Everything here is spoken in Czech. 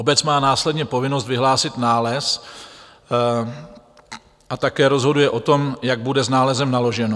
Obec má následně povinnost vyhlásit nález a také rozhoduje o tom, jak bude s nálezem naloženo.